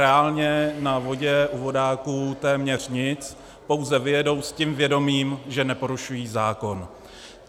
Reálně na vodě u vodáků téměř nic, pouze vyjedou s tím vědomím, že neporušují zákon.